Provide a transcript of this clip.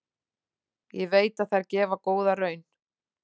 Ég veit að þær gefa góða raun.